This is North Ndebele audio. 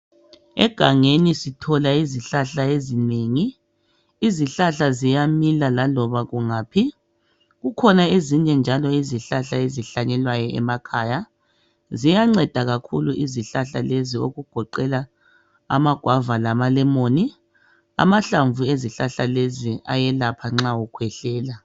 Egangeni sithola izihlahla ezinengi Izihlahla ziyamila laloba kungaphi Kukhona ezinye njalo izihlahla ezihlanyelwa emakhaya. Ziyanceda kakhulu izihlahla lezi okugoqela ama guava lama lemon Amahlamvu ezihlahla lezi ayelapha nxa ukhwehlela